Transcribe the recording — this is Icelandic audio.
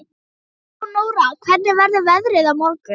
Leónóra, hvernig verður veðrið á morgun?